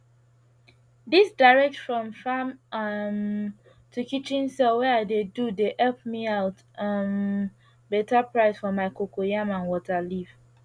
dis direct from farm um to kitchen sale wey i dey do dey epp me out um beta price for my cocoyam and water leaf